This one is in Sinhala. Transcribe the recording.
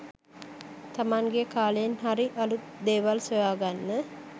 තමන්ගේ කාලයෙන් හරි අලුත් දේවල් සොයාගන්න